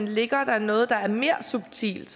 ligger noget der er mere subtilt